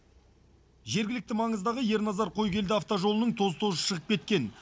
жергілікті маңыздағы ерназар қойгелді автожолының тоз тозы шығып кеткен